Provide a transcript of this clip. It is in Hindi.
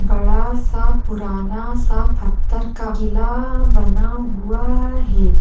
बड़ा सा पुराना सा पत्थर का किला बना हुआ है।